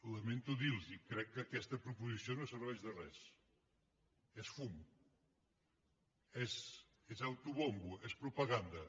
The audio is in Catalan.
lamento dir los ho crec que aquesta proposició no serveix de res és fum és autobombo és propaganda